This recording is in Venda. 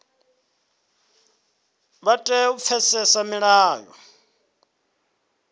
vha tea u pfesesa milayo